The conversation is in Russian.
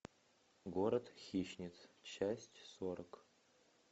город хищниц часть сорок